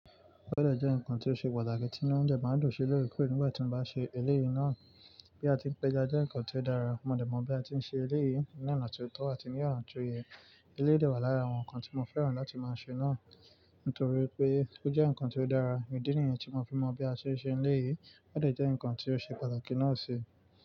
Bọ́dẹ̀ jẹ́ nǹkan tí ó ṣe pàtàkì tí inu mi dẹ̀ máa ń dùn sí lòrekore nígbà tí mo bá ṣe eléyìí náà. Bí a ti ń pẹja jẹ́ nǹkan tí ó dára, mo dẹ̀ mọ bí a ti ń ṣe eléyìí ní ọ̀nà tó tọ́ àti ní ọ̀nà tó yè. Eléyìí dà wà lára àwọn nǹkan tí mo fẹ́ràn láti máa ṣe náà nítorí pé ó jẹ́ nǹkan tí ó dára, ìdí nìyẹn tí mo fi mọ̀ bí a ṣe n ṣe eléyìí. Bọ́dẹ̀ jẹ́ nǹkan tí ó ṣe pàtàkì náà ṣi.